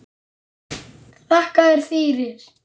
Þakka þér fyrir.